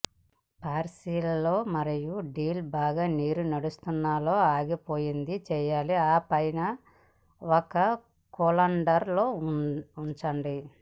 parsley మరియు dill బాగా నీరు నడుస్తున్న లో ఆగిపోయింది చేయాలి ఆపై ఒక కోలాండర్ లో ఉంచండి